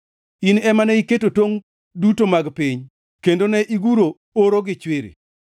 In ema ne iketo tongʼ duto mag piny kende ne iguro oro gi chwiri.